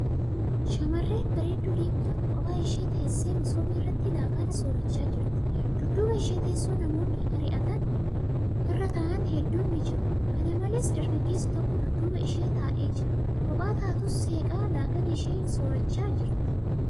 Shamarree bareedduu diimtuun kophaa ishee teessee masoobii irratti laaqana soorachaa jirti. Dudduuba ishee teessoo namoonni irrataa'aan hedduun ni jiru. Kana malees, dargaggeessi tokko dudduuba ishee taa'ee jira. Kophaa taatus seeqaa laaqana ishee soorachaa jirti.